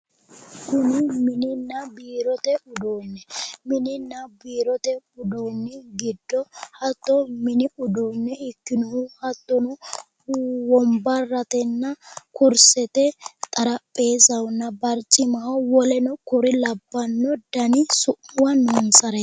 Mininna biirote uduunne mininna biirote uduunni giddo hatto mini uduunne ikkinohu hattono womabrratenna kursete xarapheezzahonna barcimaho woleno kuri labbannore dani su'miwi noonsa